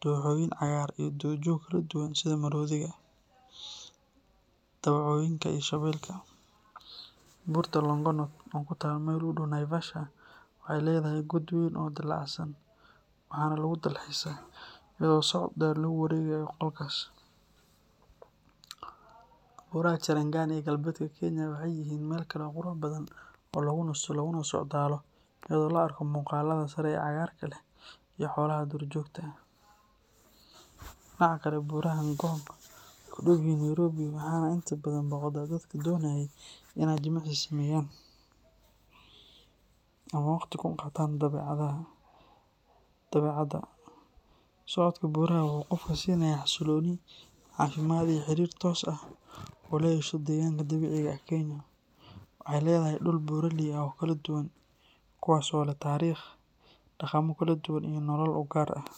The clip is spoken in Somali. dooxooyin cagaaran iyo duurjoog kala duwan sida maroodiga, dawacooyinka iyo shabeelka. Buurta Longonot, oo ku taal meel u dhow Naivasha, waxay leedahay god weyn oo dillaacsan, waxaana lagu dalxiisaa iyadoo socod dheer lagu wareegayo godkaas. Buuraha Cherangani ee galbeedka Kenya waxay yihiin meel kale oo qurux badan oo lagu nasto laguna socdaalo iyadoo la arko muuqaalada sare ee cagaarka leh iyo xoolaha duurjoogta ah. Dhinaca kale, buuraha Ngong waxay ku dhow yihiin Nairobi, waxaana inta badan booqda dadka doonaya inay jimicsi sameeyaan ama ay waqti kula qaataan dabeecadda. Socodka buuraha wuxuu qofka siinayaa xasilooni, caafimaad iyo xiriir toos ah oo uu la yeesho deegaanka dabiiciga ah. Kenya waxay leedahay dhul buuraley ah oo kala duwan, kuwaas oo leh taariikh, dhaqamo kala duwan iyo nooleyaal u gaar ah.